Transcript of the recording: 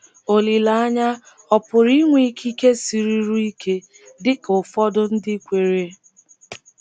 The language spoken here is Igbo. Olileanya ọ̀ pụrụ ịnwe ikike siruru ike dika ụfọdụ ndị kweere?